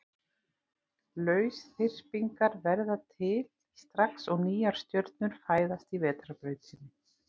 Lausþyrpingar verða til strax og nýjar stjörnur fæðast í Vetrarbrautinni.